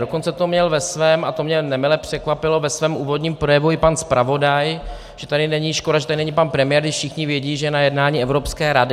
Dokonce to měl ve svém, a to mě nemile překvapilo, ve svém úvodním projevu i pan zpravodaj, že tady není, škoda, že tady není pan premiér, když všichni vědí, že je na jednání Evropské rady.